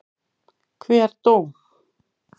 Hver dó?